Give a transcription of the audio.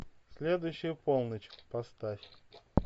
следующая полночь поставь